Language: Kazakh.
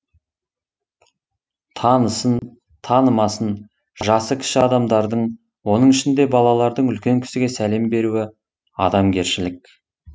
танысын танымасын жасы кіші адамдардың оның ішінде балалардың үлкен кісіге сәлем беруі адамгершілік